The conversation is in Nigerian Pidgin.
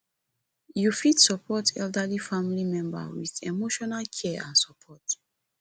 you fit support elderly family member with emotional care and support